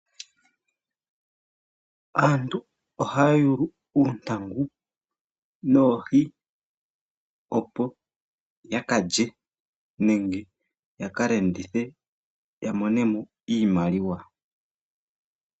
Aantu ohaya yuulu uuntangu noohi opo yakalye nenge yaka landithe ya monemo iimaliwa.